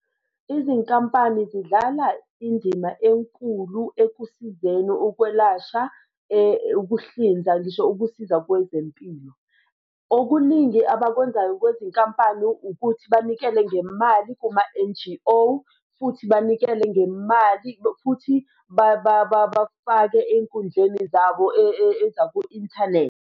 Izinkampani zidlala indima enkulu ekusizeni ukwelashwa ukuhlinza ngisho ukusiza kwezempilo. Okuningi abakwenzayo kwezinkampani ukuthi banikele ngemali kuma-N_G_O futhi banikele ngemali futhi bafake ey'nkundleni zabo ezaku-inthanethi.